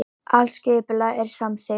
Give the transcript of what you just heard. Allt skipulag er samþykkt